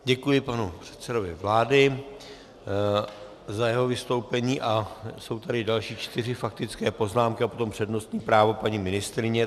Děkuji panu předsedovi vlády za jeho vystoupení a jsou tady další čtyři faktické poznámky a potom přednostní právo paní ministryně.